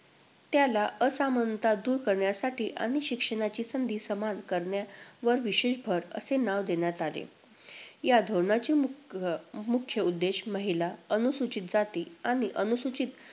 त्याला असमानता दूर करण्यासाठी आणि शिक्षणाची संधी समान करण्यावर विशेष भर, असे नाव देण्यात आले. या धोरणाचे मुख~ अं मुख्य उद्देश महिला, अनुसूचित जाती आणि अनुसूचित